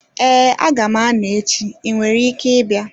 Ee aga m-anọ echi, ị nwere ike ịbịa